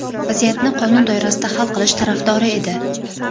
vaziyatni qonun doirasida hal qilish tarafdori edi.